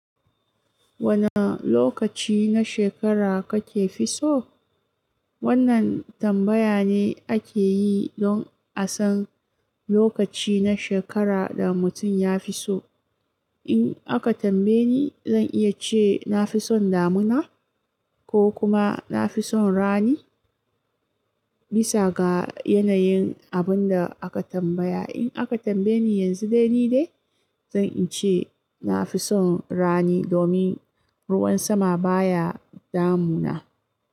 Wani lokaci na shekara kake fi so? Wannan tambaya ne ake yi don a san lokaci na shekara da mutum ya fi so. In aka tambaye ni, zan iya ce na fi son damuna ko kuma na fi son rani, bisa ga yanayin abun da aka tambaya. In aka tambaye ni yanzu dai ni dai, zan ce na fi son rani domin ruwan sama baya damuna.